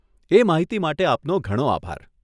એ માહિતી માટે આપનો ઘણો આભાર.